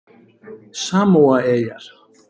Samóaeyjar